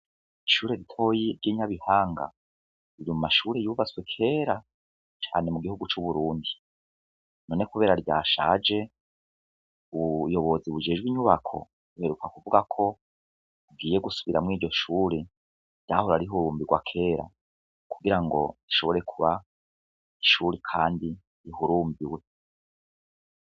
Ishure ritoya ry'i Nyabihanga riri mu mashure yubatswe kera cane mu gihugu c'Uburundi , none kubera ryashaje ubuyobozi bujejwe inyubako buheruka kuvuga ko bugiye gusubiramwo iryo shure ryahora rihundwa kera, kugira ngo rishobore kuba kandi ishure rihurunduwe.